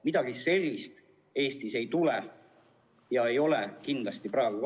Midagi sellist Eestis ei tule ja ei ole kindlasti praegugi.